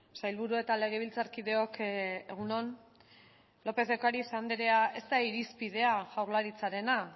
sailburu eta legebiltzarkideok egun on lópez de ocariz anderea ez da irizpidea jaurlaritzarena